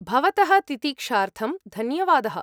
भवतः तितिक्षार्थं धन्यवादः।